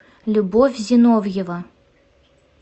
любовь зиновьева